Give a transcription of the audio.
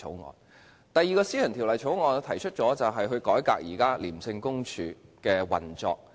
我提出的第二項私人條例草案，是改革廉政公署現時的運作。